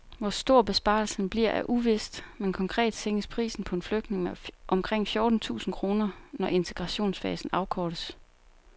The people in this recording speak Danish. Hvor stor besparelsen bliver er uvist, men konkret sænkes prisen på en flygtning med omkring fjorten tusind kroner, når integrationsfasen afkortes.